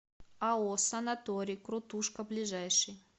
ао санаторий крутушка ближайший